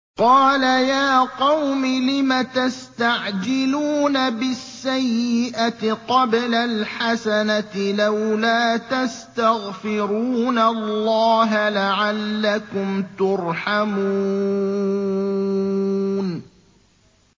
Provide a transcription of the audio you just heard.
قَالَ يَا قَوْمِ لِمَ تَسْتَعْجِلُونَ بِالسَّيِّئَةِ قَبْلَ الْحَسَنَةِ ۖ لَوْلَا تَسْتَغْفِرُونَ اللَّهَ لَعَلَّكُمْ تُرْحَمُونَ